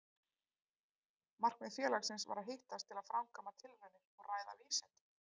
Markmið félagsins var að hittast til að framkvæma tilraunir og ræða vísindi.